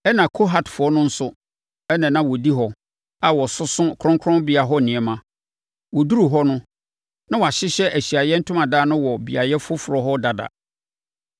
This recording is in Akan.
Ɛnna Kohatfoɔ no nso na na wɔdi hɔ a wɔsoso kronkronbea hɔ nneɛma. Wɔduruu hɔ no, na wɔahyehyɛ Ahyiaeɛ Ntomadan no wɔ beaeɛ foforɔ hɔ dada.